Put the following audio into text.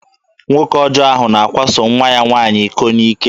Nwoke ọjọ ahụ na-akwaso nwa ya nwaanyị iko n'ike.